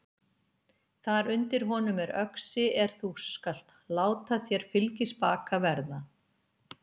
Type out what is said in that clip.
Þar undir honum er öxi er þú skalt láta þér fylgispaka verða.